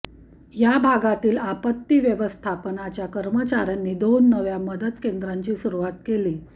या भागातील आपत्ती व्यवस्थापनाच्या कर्मचाऱ्यांनी दोन नव्या मदत केंद्रांची सुरूवात केली